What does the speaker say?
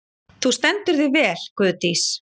Þú stendur þig vel, Guðdís!